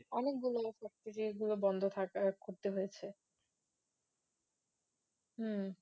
অনেকগুলো বন্ধ থাকার করতে হয়েছে হম